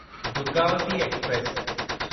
Durgavati express